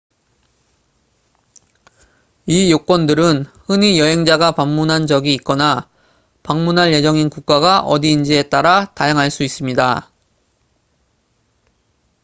이 요건들은 흔히 여행자가 방문한 적이 있거나 방문할 예정인 국가가 어디인지에 따라 다양할 수 있습니다